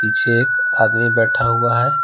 पीछे एक आदमी बैठा हुआ है।